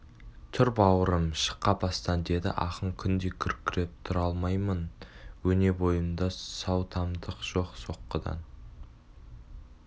тұр бауырым шық қапастан деді ақын күндей күркіреп тұра алмаймын өне бойымда сау тамтық жоқ соққыдан